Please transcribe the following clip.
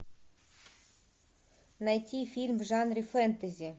найти фильм в жанре фэнтези